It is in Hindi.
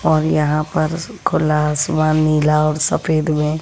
और यहां पर खुला आसमान नीला और सफेद में--